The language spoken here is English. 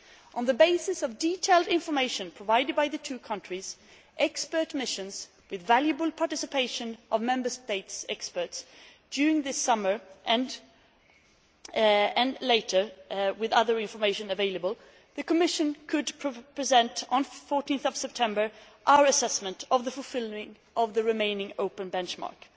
On the basis of detailed information provided by the two countries, expert missions with valuable participation of Member States' experts during this summer and, later, with other information available, the Commission was able to present, on 14 September, our assessment of the fulfilment of the remaining open benchmarks.